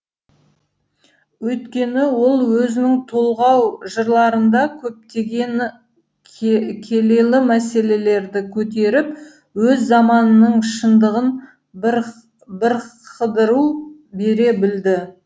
өйткені ол өзінің толғау жырларында көптеген келелі мәселелерді көтеріп өз заманынының шындығын бірқыдыру бере білді